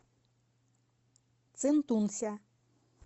цинтунся